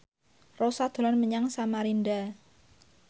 Rossa dolan menyang Samarinda